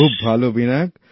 খুব ভালো বিনায়ক